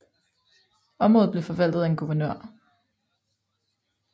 Området blev forvaltet af en guvernør